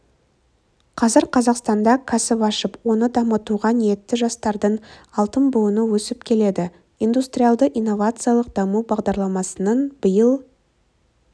қазір қазақстанда кәсіп ашып оны дамытуға ниетті жастардың алтын буыны өсіп келеді индустриялды-инновациялық даму бағдарламасының биыл